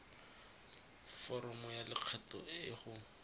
foromo ya lokgetho e go